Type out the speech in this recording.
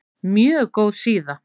Mjög góð síða.